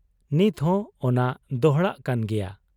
ᱱᱤᱛᱦᱚᱸ ᱚᱱᱟ ᱫᱚᱦᱲᱟᱜ ᱠᱟᱱ ᱜᱮᱭᱟ ᱾